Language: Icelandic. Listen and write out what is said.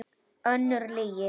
Önnur lygi.